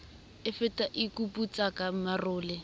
e fata e kuputsaka marole